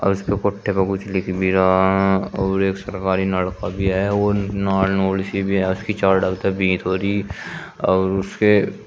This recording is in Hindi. और उसके पुट्ठे पर कुछ लिख भी रहा है और एक सरकारी नलका भी है और नाल नुल सी भी है इसके और उसके --